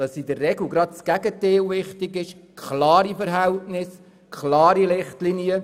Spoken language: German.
Es ist in der Regel gerade das Gegenteil nötig: klare Verhältnisse, klare Richtlinien.